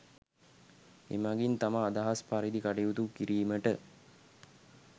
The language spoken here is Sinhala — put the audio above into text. එමගින් තම අදහස් පරිදි කටයුතු කිරීමට